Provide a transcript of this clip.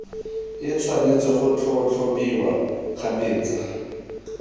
e tshwanetse go tlhatlhobiwa kgabetsa